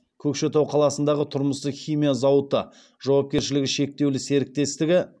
көкшетау қаласындағы тұрмыстық химия зауыты жауапкершілігі серіктестігі